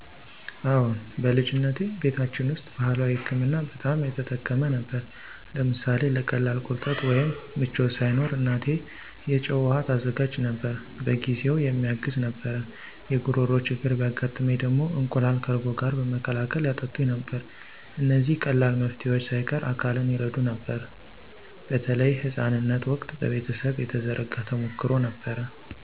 አዎን፣ በልጅነቴ ቤታችን ውስጥ ባህላዊ ሕክምና በጣም የተጠቀመ ነበር። ለምሳሌ ለቀላል ቁርጠት ወይም ምቾት ሳይኖር እናቴ የጨው ውሃ ታዘጋጅ ነበር፤ በጊዜውም የሚያግዝ ነበር። የጉሮሮ ችግር ቢያጋጥመኝ ደግሞ እንቁላል ከእርጎ ጋር በመቀላቀል ያጠጡኝ ነበር። እነዚህ ቀላል መፍትሄዎች ሳይቀር አካልን ይረዱ ነበር፣ በተለይ ሕፃንነት ወቅት በቤተሰብ የተዘረጋ ተሞክሮ ነበር።